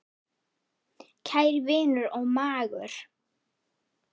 Kæri vinur og mágur.